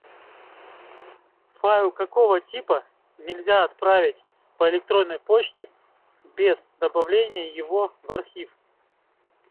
файл какого типа нельзя отправить по электронной почте без добавления его в архив